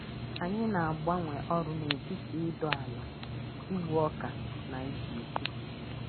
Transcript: Anyị na-agbanwe ọrụ n’etiti ịdọ ala, igbu ọka, na izu ike.